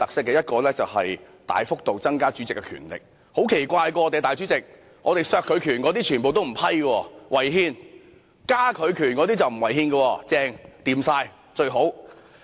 第一是大幅度增加主席的權力，而我們的主席也很奇怪，削減他權力的修訂全部不獲批准，理由是違憲，但增加其權力的卻沒有違憲，非常理想。